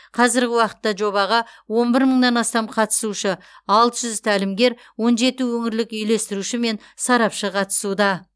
қазірғі уақытта жобаға он бір мыңнан астам қатысушы алты жүз тәлімгер он жеті өңірлік үйлестіруші мен сарапшы қатысуда